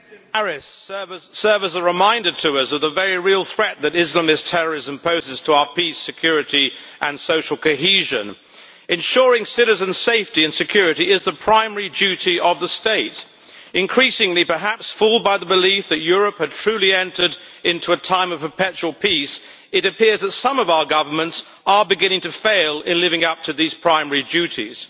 Madam President, the events in Paris serve as a reminder to us of the very real threat that Islamist terrorism poses to our peace, security and social cohesion. Ensuring citizens' safety and security is the primary duty of the state. Increasingly perhaps fooled by the belief that Europe had truly entered into a time of a perpetual peace it appears that some of our governments are beginning to fail to live up to these primary duties.